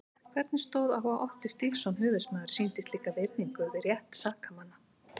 Hvernig stóð á að Otti Stígsson höfuðsmaður sýndi slíka virðingu við rétt sakamanna?